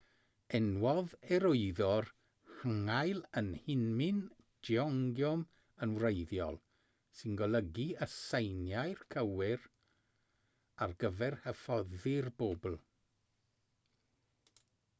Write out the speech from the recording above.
enwodd e'r wyddor hangeul yn hunmin jeongeum yn wreiddiol sy'n golygu y seiniau cywir ar gyfer hyfforddi'r bobl